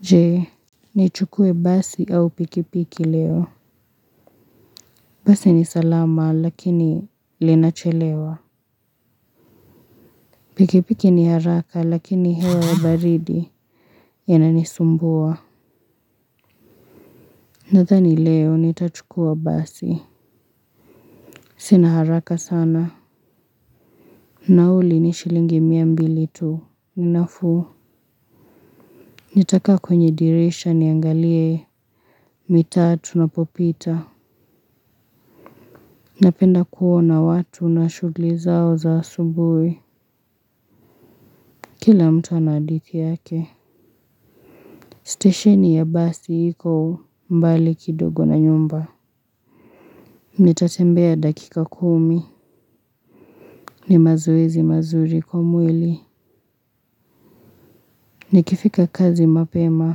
Je nichukue basi au pikipiki leo basi ni salama lakini linachelewa pikipiki ni haraka lakini hewa baridi yanani sumbua nadhani leo nitachukua basi sina haraka sana nauli ni shilingi mia mbili tu ni nafuu nitakaa kwenye dirisha niangalie mitaa tunapopita napenda kuona watu na shughuli zao za asubuhi. Kila mtu ana hadithi yake. Stesheni ya basi iko mbali kidogo na nyumba. Nitatembea dakika kumi. Ni mazoezi mazuri kwa mwili. Nikifika kazi mapema.